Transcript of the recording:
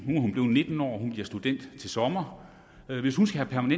nitten år hun bliver student til sommer hvis hun skal have